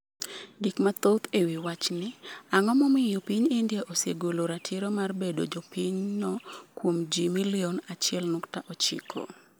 Gik mathoth e wi wachni, Ang’o momiyo piny India osegolo ratiro mar bedo jopinyno kuom ji milion 1.9?